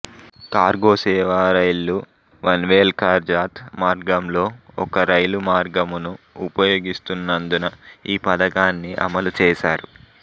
cargo సేవా రైళ్లు పన్వేల్కర్జాత్ మార్గంలో ఒక్క రైలు మార్గమును ఉపయోగిస్తున్నందున ఈ పథకాన్ని అమలు చేశారు